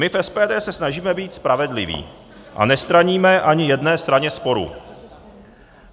My v SPD se snažíme být spravedliví a nestraníme ani jedné straně sporu.